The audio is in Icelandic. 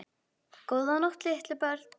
Góða nótt litlu börn.